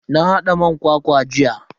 Na hada man kwakwa jiya.